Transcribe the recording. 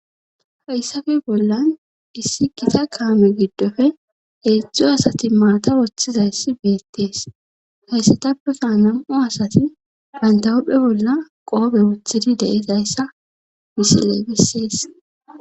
hayssafe bollan issi kita kaame giddofe hedzdzu asati mata woththizayssi beettees hayssatappe kaanam7u asati bandawudhdphe bolla qoobe woththidi deezayssa misiley beses